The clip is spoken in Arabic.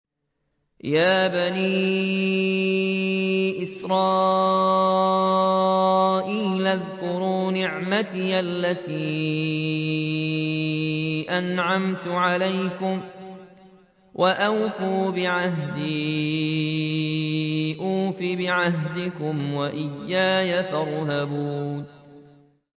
يَا بَنِي إِسْرَائِيلَ اذْكُرُوا نِعْمَتِيَ الَّتِي أَنْعَمْتُ عَلَيْكُمْ وَأَوْفُوا بِعَهْدِي أُوفِ بِعَهْدِكُمْ وَإِيَّايَ فَارْهَبُونِ